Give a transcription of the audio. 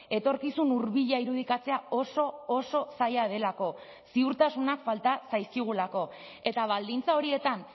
etorkizun hurbila irudikatzea oso oso zaila delako ziurtasunak falta zaizkigulako eta baldintza horietan